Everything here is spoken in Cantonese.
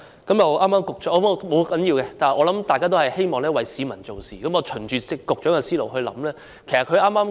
但不要緊，大家都希望為市民做事，我嘗試循着局長的思路來想。